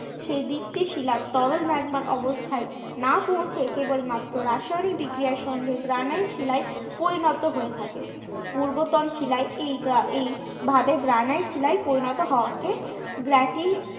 সেই দিকটি শিলার তরল ম্যাগমার অবস্থায় না পৌঁছে কেবল মাত্র রাসায়নিক বিক্রিয়ার সঙ্গে গ্রানাইট শিলায় পরিণত হয়ে থাকে। পূর্বতন শিলায় এই এই ভাবে গ্রানাইট শিলায় পরিণত হওয়াকে